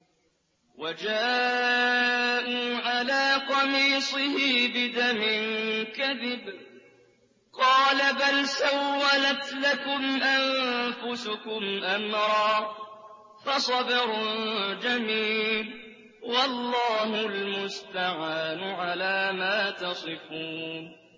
وَجَاءُوا عَلَىٰ قَمِيصِهِ بِدَمٍ كَذِبٍ ۚ قَالَ بَلْ سَوَّلَتْ لَكُمْ أَنفُسُكُمْ أَمْرًا ۖ فَصَبْرٌ جَمِيلٌ ۖ وَاللَّهُ الْمُسْتَعَانُ عَلَىٰ مَا تَصِفُونَ